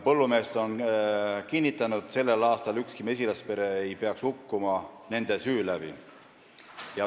Põllumehed on kinnitanud, et sellel aastal ei peaks ükski mesilaspere hukkuma nende süü tõttu.